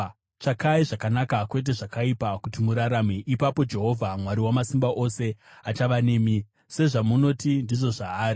Tsvakai zvakanaka, kwete zvakaipa, kuti murarame. Ipapo Jehovha Mwari Wamasimba Ose achava nemi, sezvamunoti ndizvo zvaari.